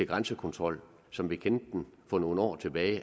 grænsekontrol som vi kendte den for nogle år tilbage det